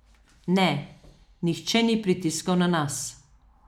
Ne, nihče ni pritiskal na nas.